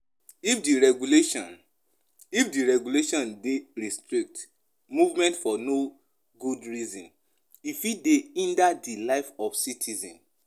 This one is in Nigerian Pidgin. If di regulation If di regulation dey restrict movement for no good reason e fit dey hinder di life of citizens